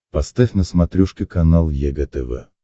поставь на смотрешке канал егэ тв